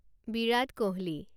Virat Kohli